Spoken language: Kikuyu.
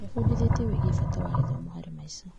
Ndĩbundithĩtie wĩgiĩ bata wa gĩthomo harĩ maica.